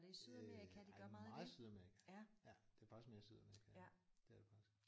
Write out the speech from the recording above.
Øh ej meget i Sydamerika ja det er faktisk mere i Sydamerika. Det er det faktisk